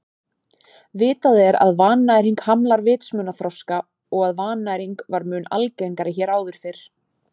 Vitað er að vannæring hamlar vitsmunaþroska og að vannæring var mun algengari hér áður fyrr.